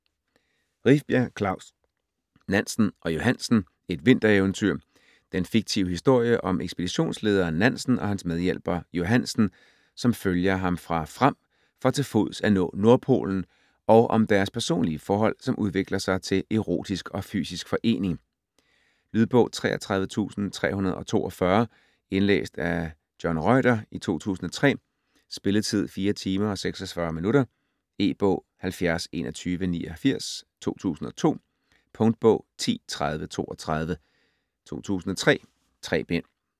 Rifbjerg, Klaus: Nansen og Johansen: et vintereventyr Den fiktive historie om ekspeditionslederen Nansen og hans medhjælper Johansen, som følger ham fra Fram for til fods at nå Nordpolen, og om deres personlige forhold som udvikler sig til erotisk og fysisk forening. Lydbog 33342 Indlæst af John Reuter, 2003. Spilletid: 4 timer, 46 minutter. E-bog 702189 2002. Punktbog 103032 2003. 3 bind.